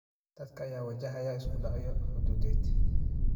Dadka ayaa wajahaya isku dhacyo xuduudeed.